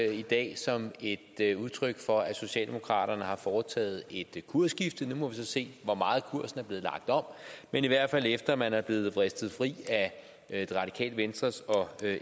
i dag som et udtryk for at socialdemokraterne har foretaget et kursskifte nu må vi så se hvor meget kursen er blevet lagt om men i hvert fald kan efter at man er blevet vristet fri af det radikale venstres og